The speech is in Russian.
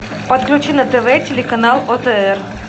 подключи на тв телеканал отр